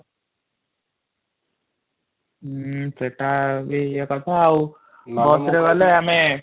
ଉଁ ସେଇଟା ଇଏ କରିଥା ଆଉ ବସରେ ଗଲେ ଆମେ